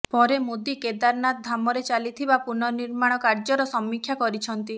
ପରେ ମୋଦୀ କେଦାରନାଥ ଧାମରେ ଚାଲିଥିବା ପୁର୍ନନିର୍ମାଣ କାର୍ଯ୍ୟର ସମୀକ୍ଷା କରିଛନ୍ତି